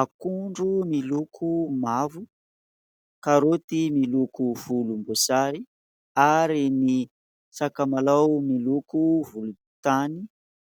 Akondro miloko mavo, karaoty miloko volomboasary, ary ny sakamalao miloko volontany ;